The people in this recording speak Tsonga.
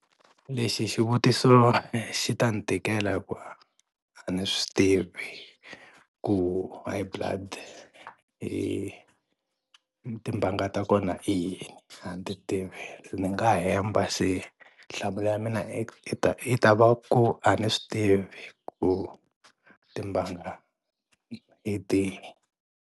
Lexi xivutiso xi ta ni tikela hi ku a ndzi swi tivi ku high blood i timbanga ta kona i yini a ni ti tivi se ni nga hemba se nhlamulo ya mina i ta va ku a ni swi tivi ku timbanga hi tihi.